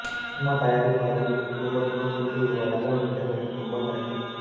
cinema தயாரிப்பாளருக்கு குடும்பத்துடன் கொன்று விடுவதாக மீட்டர் வட்டி கும்பல் மிரட்டல்